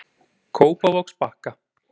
Kópavogsbakka